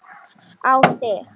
Á þig.